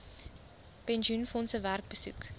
pensioenfondse werk besoek